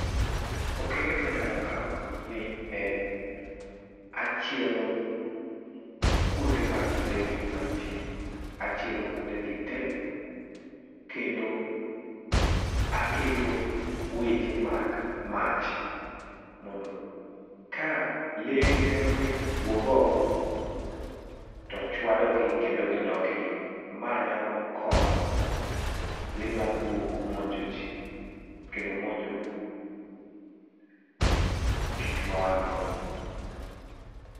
Okenge ma anyalo kao ni en achielo kuonde mag lee ni manitie, achielo kuonde gi tee kendo aketo weche mag mach mondo ka lee gi temoni wuog oko to chwadogi kendo gidok iye, ma nyalo konyo lee mag bungu monjo jii kendo monjo gikma wan go